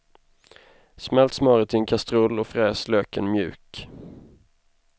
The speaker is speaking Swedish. Smält smöret i en kastrull och fräs löken mjuk.